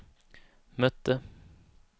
mötte